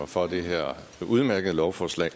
for det her udmærkede lovforslag